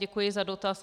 Děkuji za dotaz.